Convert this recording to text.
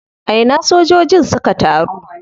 A ina sojojin suka taru?